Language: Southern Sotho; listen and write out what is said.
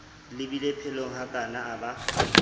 le beile pelonghakana a ba